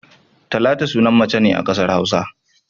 Talatu sunan mace ne a kasar Hausa.